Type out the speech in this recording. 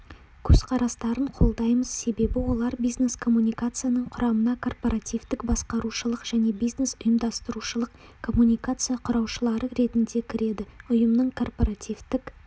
көзқарастарын қолдаймыз себебі олар бизнескоммуникацияның құрамына корпоративтік-басқарушылық және бизнес-ұйымдастырушылық коммуникация құраушылары ретінде кіреді ұйымның корпоративтік